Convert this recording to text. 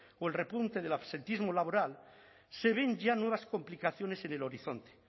o el repunte del absentismo laboral se ven ya nuevas complicaciones en el horizonte